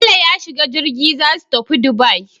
Bello ya shiga jirgi zasu tafi Dubai